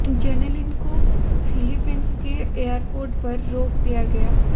Jenelyn को Philippines के airport पर रोक दिया गया